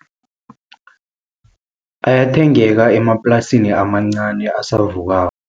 Ayathengeka emaplasini amancani abasavukako.